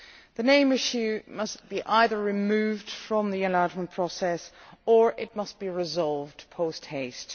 The name issue must be either removed from the enlargement process or it must be resolved post haste.